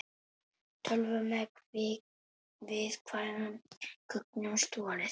Tölvu með viðkvæmum gögnum stolið